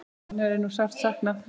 Hennar er nú sárt saknað.